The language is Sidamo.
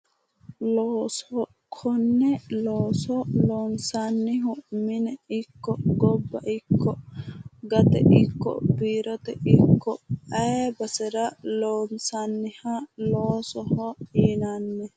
Looso, konne looso loonsannihu mine ikko, gobba ikko, gate ikko, biirote ikko ayii basera loonsanniha loosoho yinanni.